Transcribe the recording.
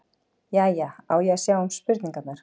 Jæja, á ég að sjá um spurningarnar?